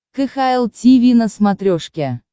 кхл тиви на смотрешке